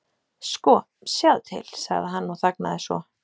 Sko, sjáðu til.- sagði hann og þagnaði svo.